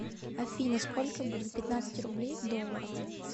афина сколько будет пятнадцать рублей в долларах